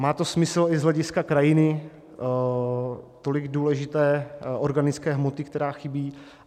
Má to smysl i z hlediska krajiny, tolik důležité organické hmoty, která chybí.